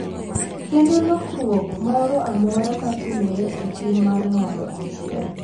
Kendo lokruok moro amora ma timore e tim mar ng’ato achiel